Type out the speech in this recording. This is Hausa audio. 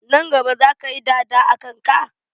Nan gaba zaka yi dada a kanka?